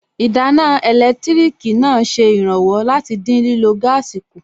Ìdáná ẹlẹtíríkì náà ṣe ìrànwọ́ láti dín lílọ̀ gáàsì kù